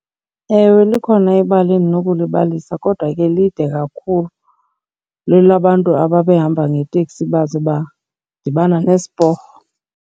Ewe, likhona ibali endinokulibalisa kodwa ke lide kakhulu, lwelabantu ababehamba ngeteksi baze badibana nesiporho.